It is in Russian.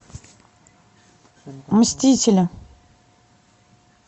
мстители